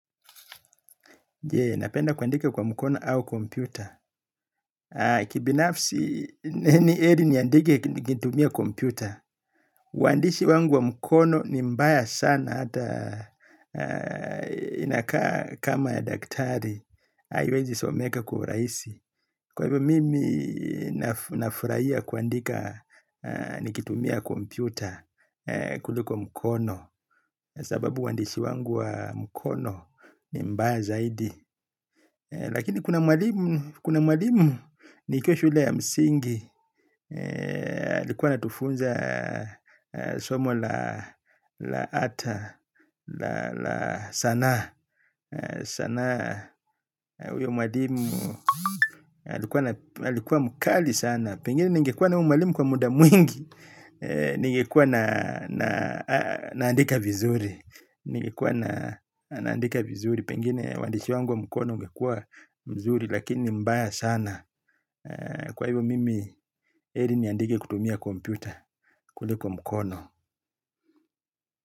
Napenda kuandika kwa mkono au kompyuta. Kibinafsi ni eri niandike nikitumia kompyuta. Uandishi wangu wa mkono ni mbaya sana hata inakaa kama ya daktari. Aiwezi someka kwa uraisi. Kwa hivyo mimi nafuraia kuandika nikitumia kompyuta kuliko mkono. Sababu uandishi wangu wa mkono ni mbaya zaidi. Lakini kuna mwalimu kuna mwalimu nikiwa shule ya msingi alikuwa anatufunza somo la ata sanaa uyo mwalimu alikuwa mkali sana. Pengine ningekuwa na uyu mwalimu kwa muda mwingi. Ningekuwa naandika vizuri. Ningekuwa naandika vizuri. Pengine uandishi wangu mkono ungekua mzuri. Lakini ni mbaya sana. Kwa hivyo mimi Eli niandike kutumia kompyuta kuliko mkono.